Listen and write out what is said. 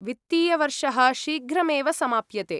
वित्तीयवर्षः शीघ्रमेव समाप्यते।